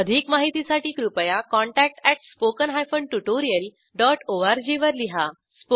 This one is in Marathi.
अधिक माहितीसाठी कृपया contact at spoken hyphen tutorial dot O R G वर लिहा